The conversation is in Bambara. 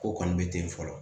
Ko kɔni bɛ ten fɔlɔ